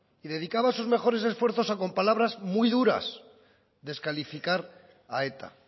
y dedicaba sus mejores esfuerzos a con palabras muy duras descalificar a eta